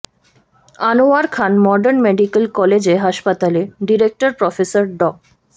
Anwar Khan modern medical college হাসপাতালে director professor ড